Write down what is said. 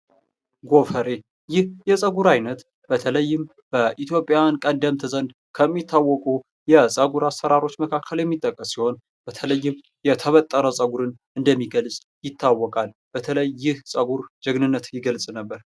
ጎፈሬ! ይህ የፀጉር አይነት በተለይም በኢትዮጵያዉያን ቀደምት ዘንድ ከሚታወቁ የፀጉር አሰራሮች የሚታወቅ ሲሆን በተለይም የተበጠረ ፀጉርን እንደሚገልፅ ይታወቃል። በተለይ ይህ ፀጉር ጀግንነትን የሚገልፅ ነበር።